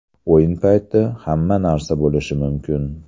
O‘yin payti hamma narsa bo‘lishi mumkin.